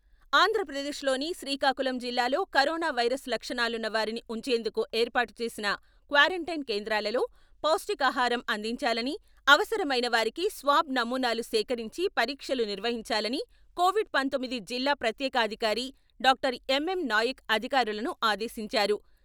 ఆంధ్రప్రదేశ్లోని శ్రీకాకుళం జిల్లాలో corona virus లక్షణాలున్న వారిని ఉంచేందుకు ఏర్పాటు చేసిన క్వారంటైన్ కేంద్రాలలో పౌష్టికాహారం అందించాలని, అవసరమైన వారికి స్వాబ్ నమూనాలు సేకరించి పరీక్షలు నిర్వహించాలని కోవిడ్ పంతొమ్మిది జిల్లా ప్రత్యేకాధికారి డాక్టర్ ఎం ఎం నాయక్ అధికారులను ఆదేశించారు.